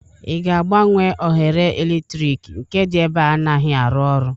ị ga-agbanwe oghere eletrik? nke dị ebe a anaghị arụ ọrụ